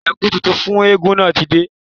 Ẹ̀kú tuntun fún eégún náà ti dé